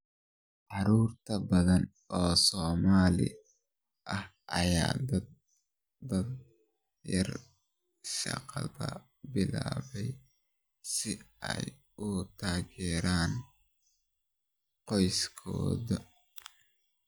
Carruur badan oo Soomaali ah ayaa da'da yar shaqada bilaabay si ay u taageeraan qoysaskooda.